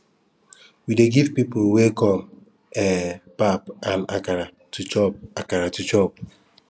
we dey give pipo wey come um pap and akara to chop akara to chop